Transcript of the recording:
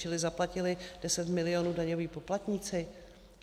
Čili zaplatili deset milionů daňoví poplatníci?